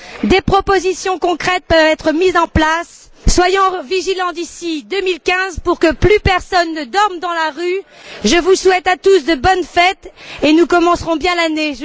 Des propositions concrètes peuvent être mises en place. Soyons vigilants d'ici 2015 pour que plus personne ne dorme dans la rue. Je vous souhaite à tous de bonnes fêtes et nous commencerons bien l'année.